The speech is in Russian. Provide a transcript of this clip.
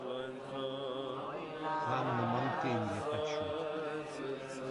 ханна монтынья хочу